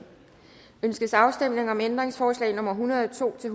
ønskes afstemning om ændringsforslag nummer en hundrede og to til